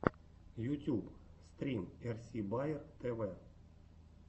ютьюб стрим эрси баер тв